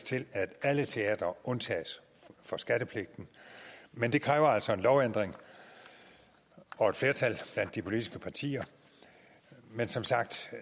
til at alle teatre undtages fra skattepligten men det kræver altså en lovændring og et flertal blandt de politiske partier men som sagt